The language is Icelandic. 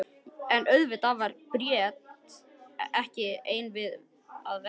En auðvitað var Bríet ekki ein að verki.